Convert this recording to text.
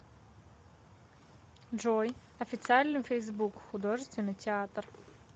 джой официальный фейсбук художественный театр